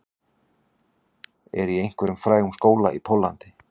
Er í einhverjum frægum skóla í Póllandi